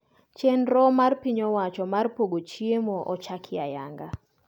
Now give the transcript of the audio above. Chendro mar piny owacho mar pogo chiemo ochaki ayanga